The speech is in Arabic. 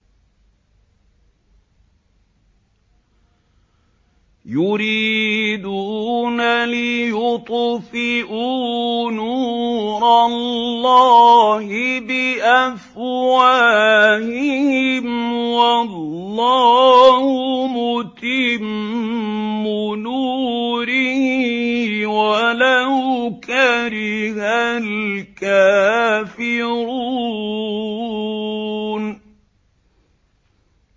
يُرِيدُونَ لِيُطْفِئُوا نُورَ اللَّهِ بِأَفْوَاهِهِمْ وَاللَّهُ مُتِمُّ نُورِهِ وَلَوْ كَرِهَ الْكَافِرُونَ